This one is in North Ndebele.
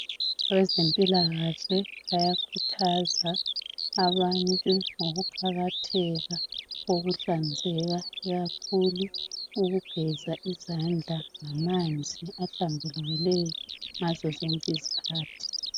Abezempilakahle bayakhuthaza abantu ngokuqakatheka kokuhlanzeka ikakhulu ukugeza izandla ngamanzi ahlambulukileyo ngazo zonke izikhathi.